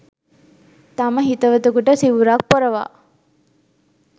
තම හිතවතකුට සිවුරක් පොරවා